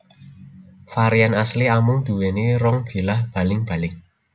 Varian asli amung duwéni rong bilah baling baling